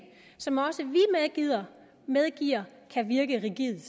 som også vi medgiver kan virke rigidt